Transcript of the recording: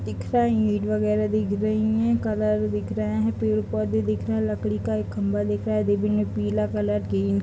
दिख रहा है ईट वगैरा दिख रहा है कलर दिख रहा है पेड़-पौधे दिख रहे हैं लकड़ी का एक खम्बा दिख रहा है पीला कलर का पेंट --